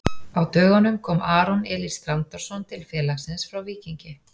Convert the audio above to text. Á dögunum kom Aron Elís Þrándarson til félagsins frá Víkingi.